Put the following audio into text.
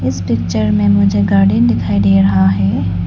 इस पिक्चर में मुझे गार्डन दिखाई दे रहा है।